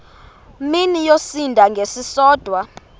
mini yosinda ngesisodwa